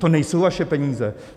To nejsou vaše peníze!